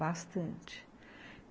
Bastante.